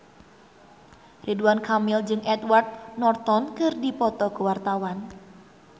Ridwan Kamil jeung Edward Norton keur dipoto ku wartawan